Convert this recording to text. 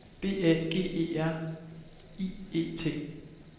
B A G E R I E T